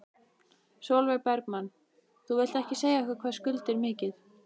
Sólveig Bergmann: Þú vilt ekki segja okkur hvað skuldir mikið?